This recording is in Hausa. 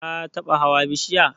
Ka taba hawa bishiya?